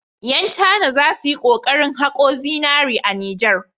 Ƴan cana za su yi kokarin haƙo zinari a Nijar.